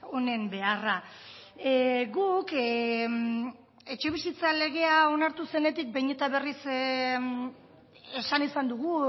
honen beharra guk etxebizitza legea onartu zenetik behin eta berriz esan izan dugu